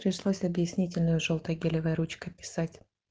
пришлось объяснительную жёлтой гелевой ручкой писать